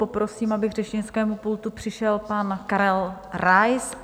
Poprosím, aby k řečnickému pultu přišel pan Karel Rais.